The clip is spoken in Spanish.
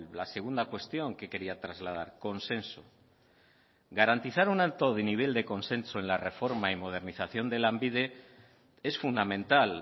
la segunda cuestión que quería trasladar consenso garantizar un alto de nivel de consenso en la reforma y modernización de lanbide es fundamental